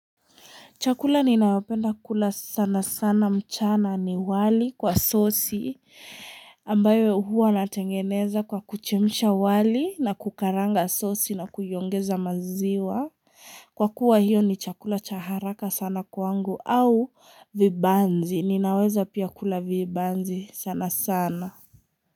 Chakula ninayo penda kula sana sana mchana ni wali kwa sosi ambayo huwa natengeneza kwa kuchemsha wali na kukaranga sosi na kuiongeza maziwa. Kwa kuwa hiyo ni chakula cha haraka sana kwangu au vibanzi. Ninaweza pia kula vibanzi sana sana.